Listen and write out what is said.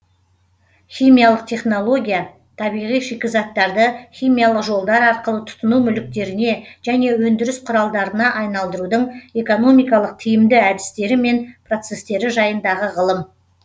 химиялық технология табиғи шикізаттарды химиялық жолдар арқылы тұтыну мүліктеріне және өндіріс құралдарына айналдырудың экономикалық тиімді әдістері мен процестері жайындағы ғылым